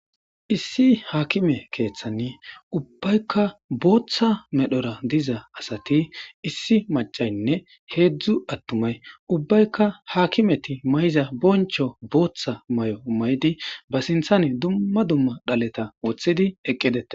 issi haakime keeththanni ubbaykka booththa medhora diza asati issi macaynne heedzdzu attumay ubbaykka haakimeti may7iza boncho booththa may7o may7di ba sinthan dumma dumma dhaleta woththidi eqqidee